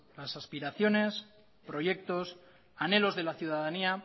las aspiraciones proyectos anhelos de la ciudadanía